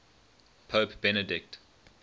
pope benedict